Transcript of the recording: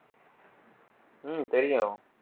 உம் தெரியும்